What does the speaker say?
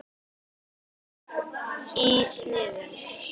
Stór í sniðum.